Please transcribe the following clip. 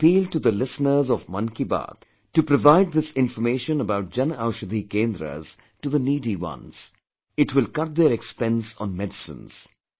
I appeal to the listeners of 'Mann Ki Baat' to provide this information about Jan Anshadhi Kendras to the needy ones it will cut their expense on medicines